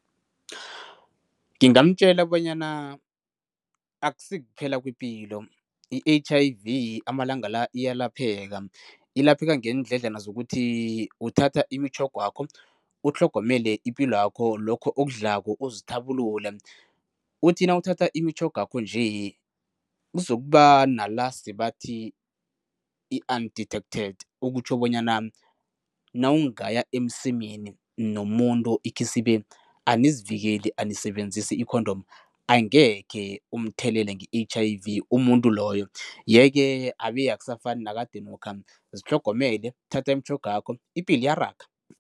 Ngingamtjela bonyana akusikuphela kwepilo, i-H_I_V amalanga la iyalapheka. Ilapheka ngeendledla zokuthi uthatha imitjho, utlhogomele ipilwakho, lokho okudlako, uzithabulule. Uthi nawuthatha imitjhogakho nje kuzokuba nala sebathi i-undetected, okutjho bonyana nawungaya emsemeni nomuntu ikhisibe anizivikeli, anisebenzisi i-condom, angekhe umthelele nge-H_I_V umuntu loyo yeke abe akusafani nakadenokha. Zitlhogomele, uthathe imitjhogakho, ipilo iyaraga.